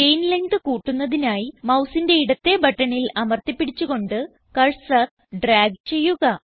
chain length കൂട്ടുന്നതിനായി മൌസിന്റെ ഇടത്തേ ബട്ടണിൽ അമർത്തി പിടിച്ച് കൊണ്ട് കർസർ ഡ്രാഗ് ചെയ്യുക